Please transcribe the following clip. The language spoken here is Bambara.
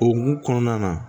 O hukumu kɔnɔna na